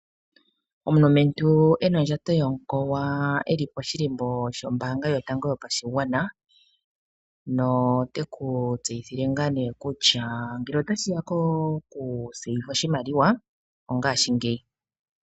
Omulumentu ena ondjato yomukowa eli poshilimbo shombaanga yotango yopashigwana noteku tseyithile ngaa nee kutya ngele otashi ya kokupungula oshimaliwa "ongashingeyi".